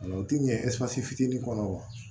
O tɛ ɲɛ ɛsipati fitinin kɔnɔ wa